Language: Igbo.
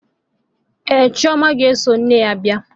Ee, chioma ga-eso nne ya bia.